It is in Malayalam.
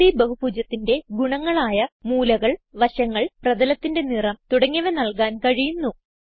3ഡ് ബഹുഭുജത്തിന്റെ ഗുണങ്ങളായ മൂലകൾ വശങ്ങൾ പ്രതലത്തിന്റെ നിറം തുടങ്ങിയവ നൽകാൻ കഴിയുന്നു